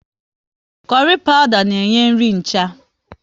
Kurry pawuda na enye nri ncha